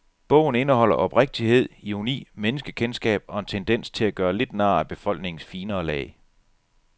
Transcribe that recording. Bogen indeholder oprigtighed, ironi, menneskekendskab og en tendens til at gøre lidt nar af befolkningens finere lag.